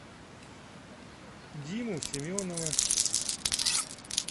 диму семенова